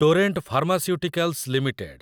Torrent Pharmaceuticals limited